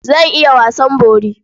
Zan iya wasan bori.